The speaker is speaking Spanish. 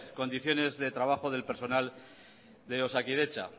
condiciones de trabajo de personal de osakidetza